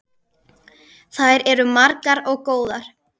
Þær eru margar og góðar.